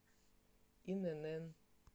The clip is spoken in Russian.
инн